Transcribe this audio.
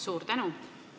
Suur tänu!